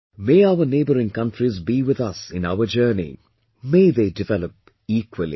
May our neighbouring countries be with us in our journey, may they develop equally